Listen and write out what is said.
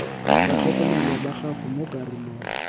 batlhokomelwa ba gago mo karolong